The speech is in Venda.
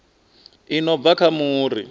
i no bva kha muri